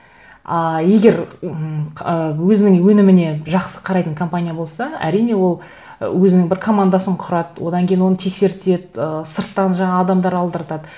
а егер ммм ыыы өзінің өніміне жақсы қарайтын компания болса әрине ол ы өзінің бір командасын құрады одан кейін оны тексертеді ы сырттан жаңағы адамдар алдыртады